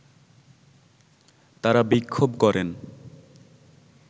তারা বিক্ষোভ করেন